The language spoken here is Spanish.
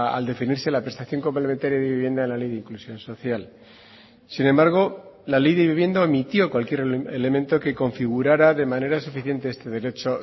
al definirse la prestación complementaria de vivienda en la ley de inclusión social sin embargo la ley de vivienda omitió cualquier elemento que configurara de manera suficiente este derecho